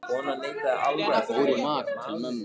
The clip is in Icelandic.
Ég fór í mat til mömmu.